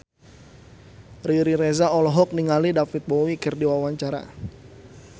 Riri Reza olohok ningali David Bowie keur diwawancara